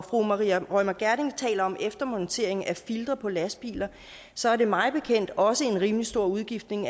fru maria reumert gjerding taler om eftermontering af filtre på lastbiler så er det mig bekendt også en rimelig stor udgift